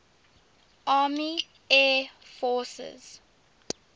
army air forces